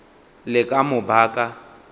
le ka mo ba ka